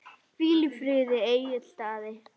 Hvíl í friði, Egill Daði.